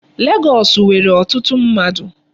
Legọọsị nwere ọtụtụ mmadụ.